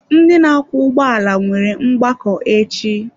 Ndị na-akwọ ụgbọala nwere mgbakọ echi.